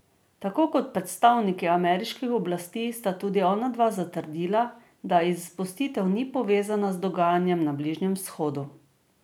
Tako kot predstavniki ameriških oblasti sta tudi onadva zatrdila, da izpustitev ni povezana z dogajanjem na Bližnjem vzhodu.